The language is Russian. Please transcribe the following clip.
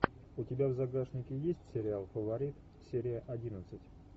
у тебя в загашнике есть сериал фаворит серия одиннадцать